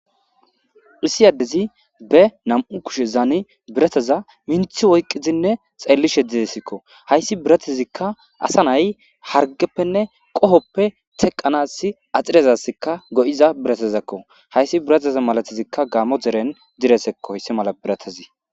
Issi adezzi be nam''u koshshezanni biratazza minththi oyikkidi xellishshe dizayissakko .hayissi biratazikka asa nayiyi harigeppenne qohoppe teqanassi atirezassikka go'iza birattakko,hayissi biratazza malatikka Gamo derenni diresekko hayissan mala biratazzi.